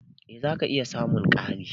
Eh zaka iya samun ƙari.